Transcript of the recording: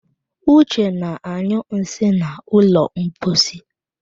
Uche na-anyụ nsị n'ụlọ mposi